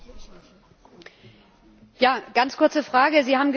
Eine ganz kurze Frage Sie haben gesagt, Flüchtlinge sind willkommen.